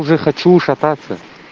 уже хочу шататься